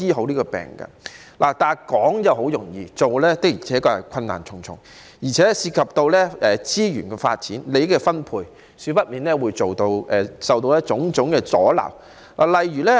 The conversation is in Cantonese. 可是，說得容易，要做便困難重重，而且當中涉及資源發展、利益分配等問題，少不免會受到種種阻撓。